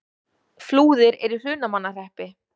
Flúðir er í Hrunamannahreppi.